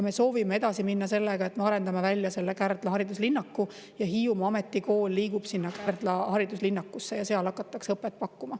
Me soovime edasi minna sellega, et arendame välja Kärdla hariduslinnaku, Hiiumaa Ametikool liigub sinna ja seal hakatakse õpet pakkuma.